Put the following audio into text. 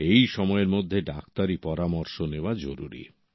এই সময়ের মধ্যেই ডাক্তারি পরামর্শ নেওয়া জরুরি